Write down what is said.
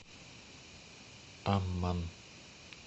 амман